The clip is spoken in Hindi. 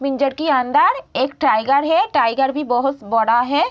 पिंजरा के अंदर एक टाइगर है टाइगर भी बहुत बड़ा है।